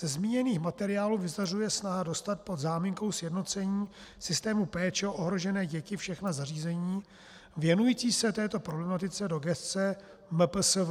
Ze zmíněných materiálů vyzařuje snaha dostat pod záminkou sjednocení systému péče o ohrožené děti všechna zařízení věnující se této problematice do gesce MPSV.